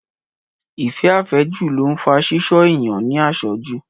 Ìfẹ́ Àfẹ́jù ló ń fa Ṣíṣọ́ ènìyàn ní àṣọ́jù